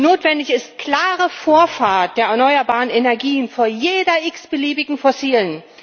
Notwendig ist klare Vorfahrt der erneuerbaren Energien vor jeder x beliebigen fossilen.